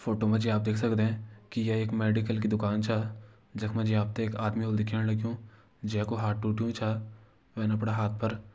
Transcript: फोटो मा जी आप देख सकदें की ये एक मेडिकल की दुकान छा जख मा जी आप ते एक आदमी होलु दिखेण लग्युं जै कू हाथ टूट्युं छा वैन अपड़ा हाथ पर --